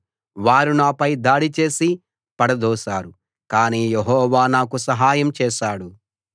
వారు నాపై దాడి చేసి పడదోశారు కానీ యెహోవా నాకు సహాయం చేశాడు